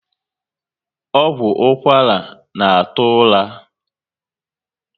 Ọgwụ ụkwara na atụ ụra